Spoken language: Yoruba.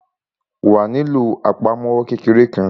Wàá nílò àpamọ́wọ́ kékeré kan.